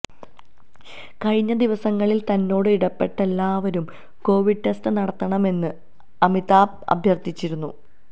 കഴിഞ്ഞ ദിവസങ്ങളില് തന്നോട് ഇടപെട്ട എല്ലാവരും കോവിഡ് ടെസ്റ്റ് നടത്തണമെന്ന് അമിതാഭ് അഭ്യര്ഥിച്ചിരുന്നു